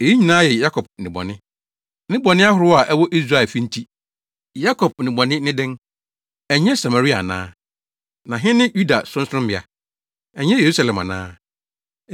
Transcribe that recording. Eyi nyinaa yɛ Yakob nnebɔne, ne bɔne ahorow a ɛwɔ Israel fi nti. Yakob nnebɔne ne dɛn? Ɛnyɛ Samaria ana? Na he ne Yuda sorɔnsorɔmmea? Ɛnyɛ Yerusalem ana?